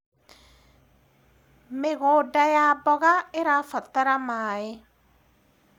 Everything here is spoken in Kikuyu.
mĩgũnda ya mboga irabatara maĩ